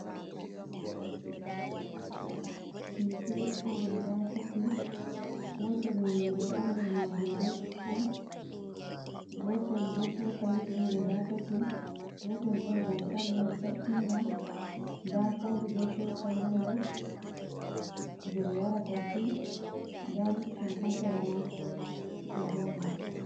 Ɗum Pilet'on guda tati, Gotel nyiri ha nder majum be Supun, Gotel bo Cokaliji'on guda tati, Gotel bo Dankali'on Sa’inga nda kofi be Cokali ha nder je ɓe yarata tii nda lipton ha Sera man ɗo joɗi.